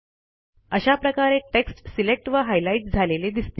अशा प्रकारे text select व हायलाईट झालेले दिसतील